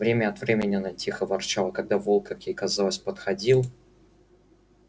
время от времени она тихо ворчала когда волк как ей казалось подходил